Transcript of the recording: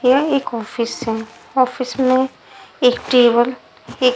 ये एक ऑफिस है ऑफिस में एक टेबल एक--